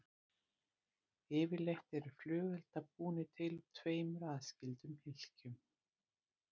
Yfirleitt eru flugeldar búnir til úr tveimur aðskildum hylkjum.